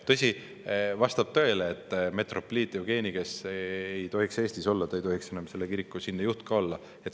Tõsi, vastab tõele, et metropoliit Jevgeni, kes ei tohiks Eestis viibida, ei tohiks enam selle kiriku siinne juht ka olla.